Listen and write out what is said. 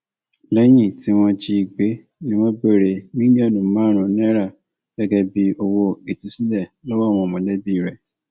lẹyìn tí wọn jí i gbé ni wọn béèrè mílíọnù márùnún náírà gẹgẹ bíi owó ìtúsílẹ lọwọ àwọn mọlẹbí rẹ